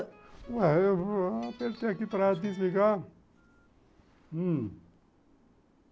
Eu apertei aqui para desligar, hum.